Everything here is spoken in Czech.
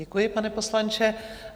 Děkuji, pane poslanče.